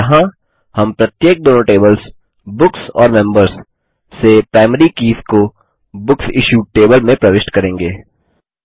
और यहाँ हम प्रत्येक दोनों टेबल्स बुक्स और मेंबर्स से प्राइमरी कीज़ को बुकसिश्यूड टेबल में प्रविष्ट करेंगे